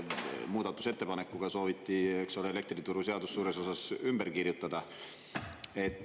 Muudatusettepanekuga sooviti, eks ole, elektrituruseadus suures osas ümber kirjutada.